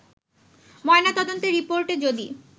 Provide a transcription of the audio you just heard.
ময়না তদন্তের রিপোর্টে যদি